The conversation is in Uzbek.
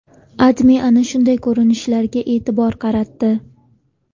AdMe ana shunday ko‘rinishlarga e’tibor qaratdi .